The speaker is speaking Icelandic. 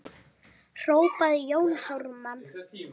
hrópaði Jón Ármann.